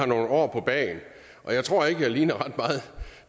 nogle år på bagen og jeg tror ikke at jeg ligner